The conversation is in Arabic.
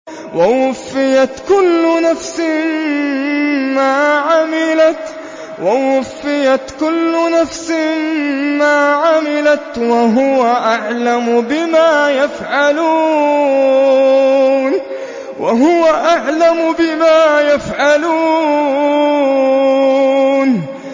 وَوُفِّيَتْ كُلُّ نَفْسٍ مَّا عَمِلَتْ وَهُوَ أَعْلَمُ بِمَا يَفْعَلُونَ